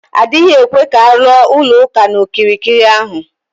Adịghị ekwe ka aluo ụlọ ụka na okirikiri ahụ